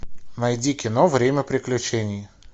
найди кино время приключений